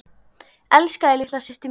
Elska þig litla systir mín.